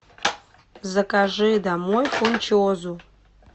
закажи домой фунчозу